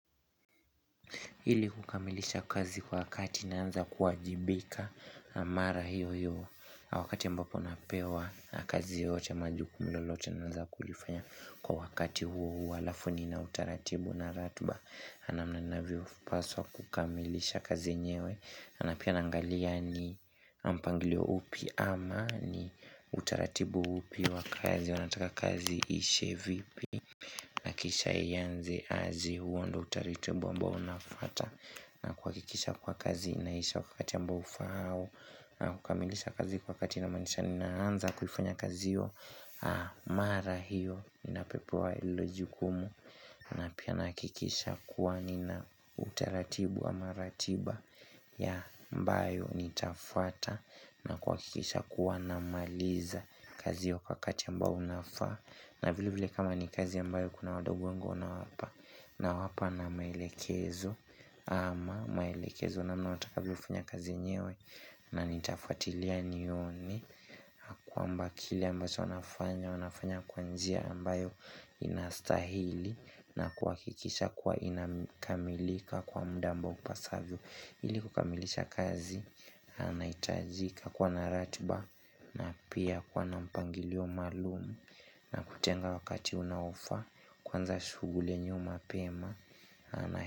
Hili kukamilisha kazi wakati naanza kuajibika na mara hiyo hiyo wakati mbapo napewa na kazi yote maju kumlo lolote naanza kulifanya kwa wakati huo huo alafu na utaratibu na ratiba. Namna naviopaswa kukamilisha kazi enyewe. Na pia naangalia ni mpangilio upi ama ni utaratibu upi wa kazi wanataka kazi ishe vipi. Nakisha ianze azi huwa ndo utaritubu ambao unafuata na kuhakikisha kuwa kazi inaisha wakati ambao ufahao na kukamilisha kazi kwa kati inamanisha ninaanza kufanya kazi hio mara hiyo inapepewa ilo jikumu na pia nahakikisha kuwa nina utaratibu wa ama ratiba ya ambayo nitafuata na kuwahakikisha kuwa namaliza kazi hio kwa wakati ambao unaofaa na vile vile kama ni kazi ambayo kuna wadogo nawapa na maelekezo ama maelekezo namna watakavyo fanya kazi enyewe na nitafuatilia nione kwamba kile ambacho wanafanya kwa njia ambayo inastahili na kuhakikisha kuwa inakamilika kwa muda ambao kupa savyo Ilikukamilisha kazi anahitajika kuwa na ratiba na pia kuwa na mpangilio maalamu na kutenga wakati unaofaa kanza shughuli enyewe mapema.